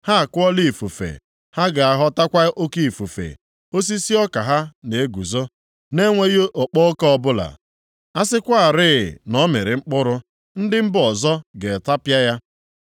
“Ha akụọla ifufe, ha ga-aghọtakwa oke ifufe. Osisi ọka ha na-eguzo na-enweghị okpo ọka ọbụla. A sịkwarị na ọ mịrị mkpụrụ, ndị mba ọzọ ga-atapịa ya.